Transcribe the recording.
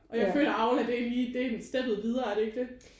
Og jeg føler Aula det er lige det er steppet videre er det ikke det?